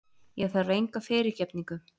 Ég þarf enga fyrirgefningu.